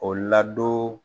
O ladon